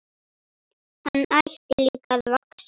Hann hætti líka að vaxa.